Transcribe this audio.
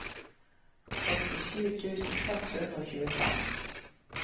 åttisju tusen seks hundre og tjuefem